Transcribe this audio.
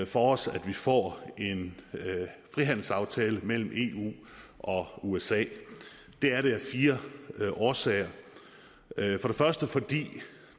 for os at vi får en frihandelsaftale mellem eu og usa det er det af fire årsager for det første fordi